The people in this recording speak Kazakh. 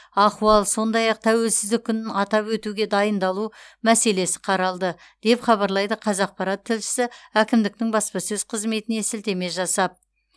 ахуал сондай ақ тәуелсіздік күнін атап өтуге дайындалу мәселесі қаралды деп хабарлайды қазақпарат тілшісі әкімдіктің баспасөз қызметіне сілтеме жасап